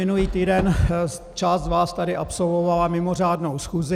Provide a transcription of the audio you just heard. Minulý týden část z vás tady absolvovala mimořádnou schůzi.